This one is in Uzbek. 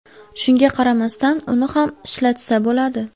Shunga qaramasdan uni ham ishlatsa bo‘ladi.